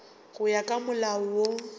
go ya ka molao wo